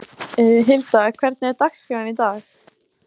Hilda, hvernig er dagskráin í dag?